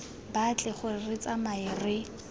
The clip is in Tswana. batle gore re tsamae re